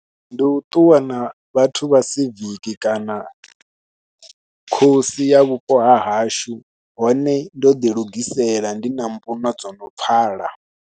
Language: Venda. Ndi u ṱuwa na vhathu vha siviki kana khosi ya vhupo ha hashu hone ndo ḓilugisela, ndi na mbuno no dzo no pfhala.